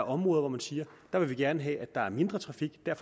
områder hvor man siger vi vil gerne have at der er mindre trafik dér